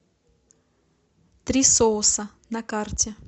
три соуса на карте